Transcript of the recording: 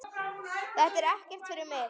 Þetta er ekkert fyrir mig.